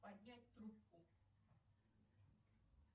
поднять трубку